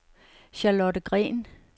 Charlotte Green